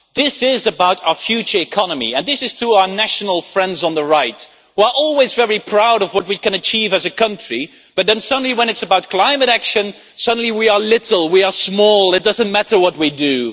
This is about our future economy, and I say this to our nationalist friends on the right who are always very proud of what we can achieve as a country but then suddenly when it is about climate action, suddenly they say we are little, we are small, it does not matter what we do.